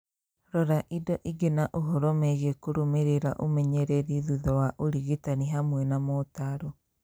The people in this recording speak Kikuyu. Rora indo ingĩ na ũhoro megiĩ kũrũmĩrĩra ũmenyereri thutha wa ũrigitani, hamwe na motaaro.